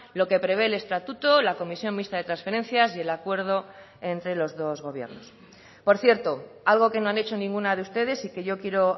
lo que prevé el estatuto la comisión mixta de transferencias y el acuerdo entre los dos gobiernos por cierto algo que no han hecho ninguna de ustedes y que yo quiero